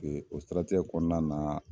E o siratigɛ kɔnɔna na